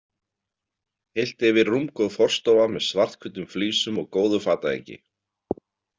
Heilt yfir rúmgóð forstofa með svarthvítum flísum og góðu fatahengi.